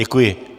Děkuji.